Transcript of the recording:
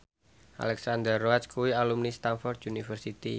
Alexandra Roach kuwi alumni Stamford University